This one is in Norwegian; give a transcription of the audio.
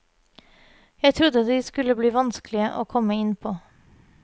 Jeg trodde de skulle bli vanskelige å komme innpå.